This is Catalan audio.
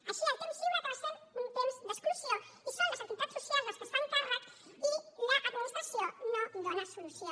així el temps lliure acaba sent un temps d’exclusió i són les entitats socials les que se’n fan càrrec i l’administració no hi dona solució